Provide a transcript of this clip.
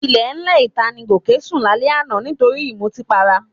Ilẹ̀ẹ́lẹ̀ ìta ni Gòkè sún lálẹ́ àná nítorí ìmutípara